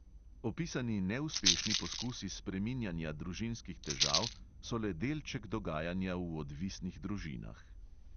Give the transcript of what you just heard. Opisani neuspešni poskusi spreminjanja družinskih težav so le delček dogajanja v odvisnih družinah.